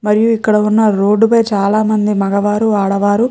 మరియు ఇక్కడ ఉన్న రోడ్డు పై చాలా మంది మగవారు ఆడవారు --